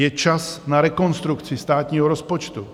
Je čas na rekonstrukci státního rozpočtu.